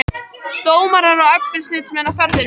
Dómarar og eftirlitsmenn á ferðinni